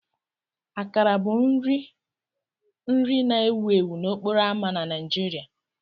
Akara bụ nri nri na-ewu ewu n'okporo ámá na Nigeria.